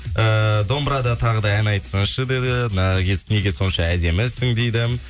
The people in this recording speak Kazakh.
эээ домбырада тағы да ән айтсыңшы деді наргиз неге сонша әдемісің дейді